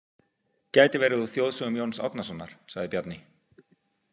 Gæti verið úr Þjóðsögum Jóns Árnasonar, sagði Bjarni.